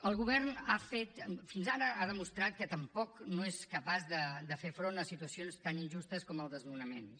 el govern fins ara ha demostrat que tampoc no és capaç de fer front a situacions tan injustes com els desnonaments